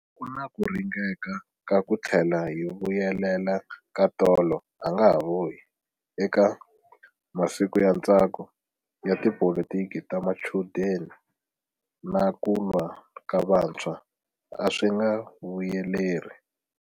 Ku na ku ringeka ka ku tlhela hi vuyelela ka tolo a nga vuyi eka masiku ya ntsako ya tipolitiki ta machudeni na ku lwa ka vantshwa, a swi nga vuyeleri.